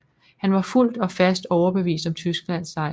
Han var fuldt og fast overbevist om Tysklands sejr